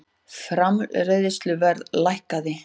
Framleiðsluverð lækkaði